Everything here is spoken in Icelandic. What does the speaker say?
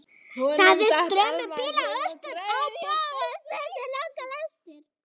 Það er straumur bíla austur á bóginn, stundum langar lestir.